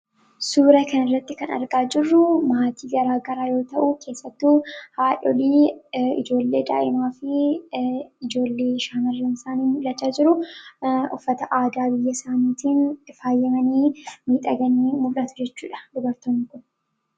suura kan irratti kan argaa jirruu maatii garaa garaa yoo ta'uu keessattuu haadholii ijoollee daa'imaa fi ijoollee shaamrramsaanii mulachaa jiru uffata aadaabiyya isaaniitiin ifaayyimanii miixaganii mudatu jechuudha dubartou kun